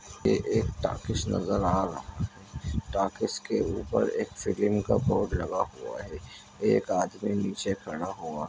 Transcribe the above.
ये एक टाकिस नजर आ रहा है टाकीस के ऊपर एक का बोर्ड लगा हुआ है एक आदमी नीचे खड़ा हुआ है।